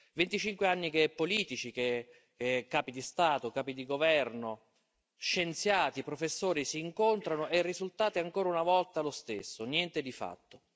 Venticinque anni che politici, che capi di Stato, capi di governo, scienziati, professori si incontrano e il risultato è ancora una volta lo stesso niente di fatto.